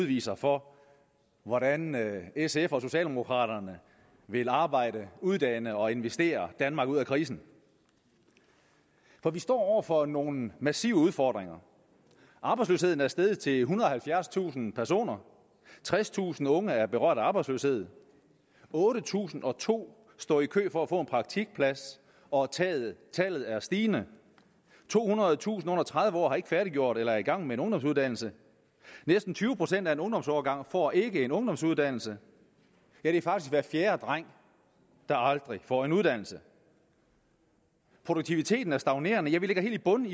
viser for hvordan sf og socialdemokraterne vil arbejde uddanne og investere danmark ud af krisen for vi står over for nogle massive udfordringer arbejdsløsheden er steget til ethundrede og halvfjerdstusind personer tredstusind unge er berørt af arbejdsløshed otte tusind og to står i kø for at få en praktikplads og tallet tallet er stigende tohundredetusind under tredive år har ikke færdiggjort eller er ikke i gang med en ungdomsuddannelse næsten tyve procent af en ungdomsårgang får ikke en ungdomsuddannelse ja det er faktisk hver fjerde dreng der aldrig får en uddannelse produktiviteten er stagnerende vi ligger helt i bund